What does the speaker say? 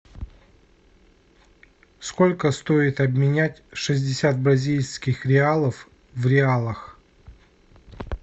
сколько стоит обменять шестьдесят бразильских реалов в реалах